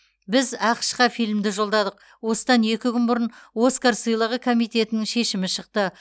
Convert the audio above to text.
біз ақш қа фильмді жолдадық осыдан екі күн бұрын оскар сыйлығы комитетінің шешімі шықты